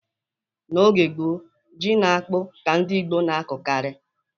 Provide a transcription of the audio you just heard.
N'oge gboo, ji na akpụ ka ndị Igbo na-akọkarị.